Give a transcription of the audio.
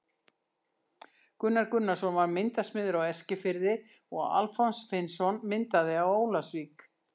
Gunnar Gunnarsson var myndasmiður á Eskifirði og Alfons Finnsson myndaði á Ólafsvík.